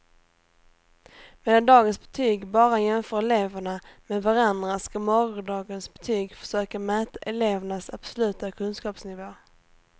Medan dagens betyg bara jämför eleverna med varandra ska morgondagens betyg försöka mäta elevernas absoluta kunskapsnivå.